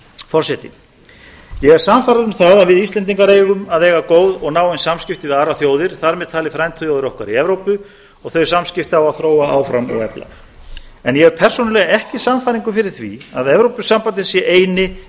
forseti ég er sannfærður um það að við íslendingar eigum að eiga góð og náin samskipti við aðrar þjóðir þar með talið frændþjóðir okkar í evrópu og þau samskipti á að þróa áfram og efla en ég hef persónulega ekki sannfæringu fyrir því að evrópusambandið sé eini